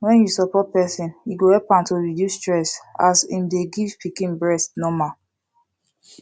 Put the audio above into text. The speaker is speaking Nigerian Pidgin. when you support person e go help am to reduce stess as im dey give pikin breast normal